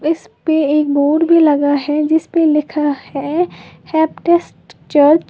इसपे एक बोर्ड भी लगा है जिसपे लिखा है चर्च ।